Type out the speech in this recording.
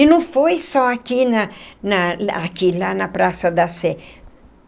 E não foi só aqui na na aqui lá na Praça da Sé.